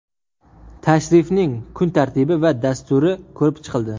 Tashrifning kun tartibi va dasturi ko‘rib chiqildi.